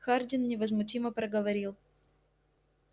хардин невозмутимо проговорил